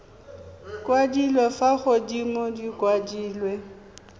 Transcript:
kwadilwe fa godimo di kwadilwe